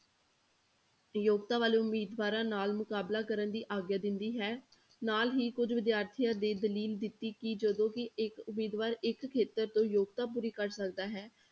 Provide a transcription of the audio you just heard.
ਯੋਗਤਾ ਵਾਲੇ ਉਮੀਦਵਾਰਾਂ ਨਾਲ ਮੁਕਾਬਲਾ ਕਰਨ ਦੀ ਆਗਿਆ ਦਿੰਦੀ ਹੈ, ਨਾਲ ਹੀ ਕੁੱਝ ਵਿਦਿਆਰਥੀਆਂ ਦੀ ਦਲੀਲ ਦਿੱਤੀ ਕਿ ਜਦੋਂ ਵੀ ਇੱਕ ਉਮੀਦਵਾਰ ਇੱਕ ਖੇਤਰ ਤੋਂ ਯੋਗਤਾ ਪੂਰੀ ਕਰ ਸਕਦਾ ਹੈ।